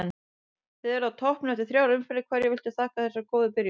Þið eruð á toppnum eftir þrjár umferðir, hverju viltu þakka þessa góðu byrjun?